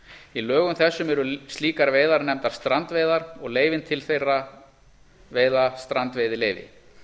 í lögum þessum eru slíkar veiðar nefndar strandveiðar og leyfin til þeirra veiða strandveiðileyfi